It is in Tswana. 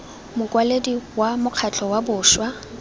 mokwaledi wa mokgatlho wa bašwa